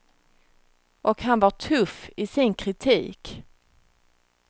Och han var tuff i sin kritik.